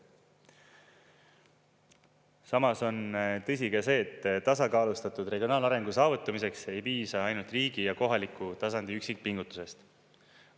Samas on tõsi ka see, et tasakaalustatud regionaalarengu saavutamiseks ei piisa ainult riigi ja kohaliku tasandi üksikpingutusest.